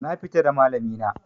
Na fita da malami na